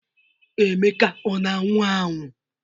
Emeka ọ na-anwu anwụ?